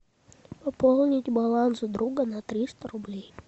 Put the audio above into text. пополнить баланс друга на триста рублей